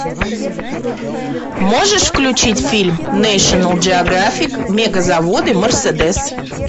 можешь включить фильм нэшнл джеографик мегазаводы мерседес